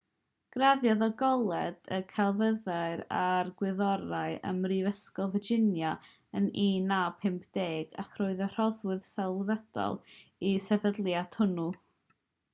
graddiodd o goleg y celfyddydau a'r gwyddorau ym mhrifysgol virginia yn 1950 ac roedd yn rhoddwr sylweddol i'r sefydliad hwnnw